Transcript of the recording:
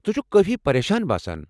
ژٕ چھُکھ کٲفی پریشان باسان۔